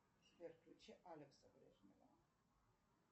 сбер включи алекса